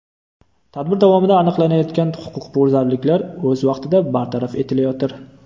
Tadbir davomida aniqlanayotgan huquqbuzarliklar o‘z vaqtida bartaraf etilayotir.